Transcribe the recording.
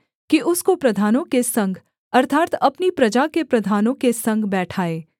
कि उसको प्रधानों के संग अर्थात् अपनी प्रजा के प्रधानों के संग बैठाए